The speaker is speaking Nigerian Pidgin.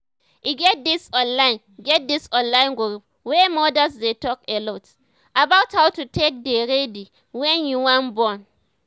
e get this online get this online group wey modas dey talk alot about how to take dey ready wen you wan born